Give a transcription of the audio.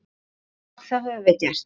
Og það höfum við gert.